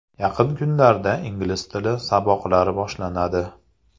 Yaqin kunlarda ingliz tili saboqlari boshlanadi.